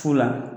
Fu la